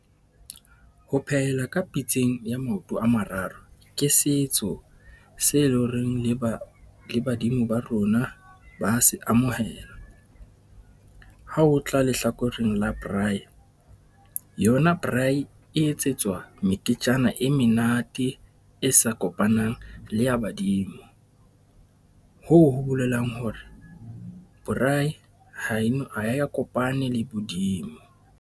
Ho phehela ka pitseng ya maoto a mararo ke setso se leng horeng le ba, le badimo ba rona ba se amohela. Ha ho tla lehlakoreng la braai, yona braai e etsetswa meketjana e menate e sa kopanang le ya badimo, hoo ho bolelang hore braai , ha ya kopane le bodimo.